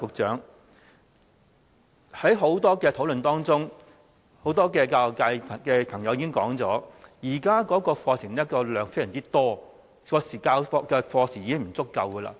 在很多討論當中，不少教育界朋友都表示，現在課程內容非常多，授課時間已經不足夠。